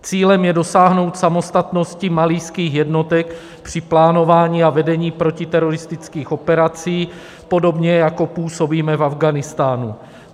Cílem je dosáhnout samostatnosti malijských jednotek při plánování a vedení protiteroristických operací, podobně jako působíme v Afghánistánu.